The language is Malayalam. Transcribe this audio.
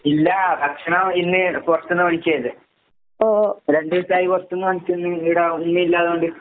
ഇല്ല. ഭക്ഷണം ഇന്ന് പൊറത്ത്ന്ന് മേടിക്കേയ്തേ. രണ്ടൂസായി പൊറത്ത്ന്ന് വാങ്ങിച്ചിന്ന് ഈട ഒന്നൂല്ലാതെ വന്ന്ട്ട്.